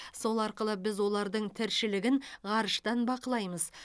сол арқылы біз олардың тіршілігін ғарыштан бақылаймыз